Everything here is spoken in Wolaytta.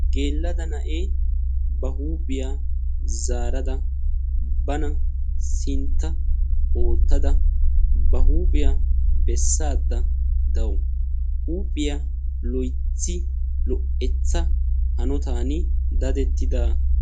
geela'o naiya ba huuphiya zaarada sinta besaydda dawusu. huuphiya lo'etti hanotan dadettidaara.